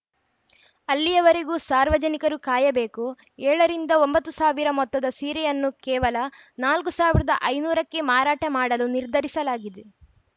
ಅಲ್ಲಿಯವರೆಗೂ ಸಾರ್ವಜನಿಕರು ಕಾಯಬೇಕು ಏಳು ರಿಂದ ಒಂಬತ್ತು ಸಾವಿರ ಮೊತ್ತದ ಸೀರೆಯನ್ನು ಕೇವಲ ನಾಲ್ಕ್ ಸಾವಿರದ ಐನೂರು ಕ್ಕೆ ಮಾರಾಟ ಮಾಡಲು ನಿರ್ಧರಿಸಲಾಗಿದೆ